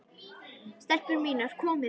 STELPUR MÍNAR, KOMIÐI!